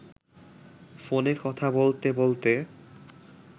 ফোনে কথা বলতে বলতে